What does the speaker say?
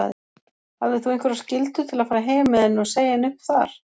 Hafðir þú einhverjar skyldur til að fara heim með henni og segja henni upp þar?